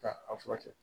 Ka a furakɛ